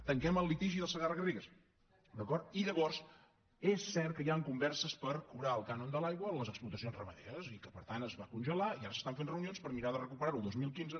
tanquem el litigi del segarra garrigues d’acord i llavors és cert que hi han converses per cobrar el cànon de l’aigua a les explotacions ramaderes i que per tant es va congelar i ara s’estan fent reunions per mirar de recuperar ho el dos mil quinze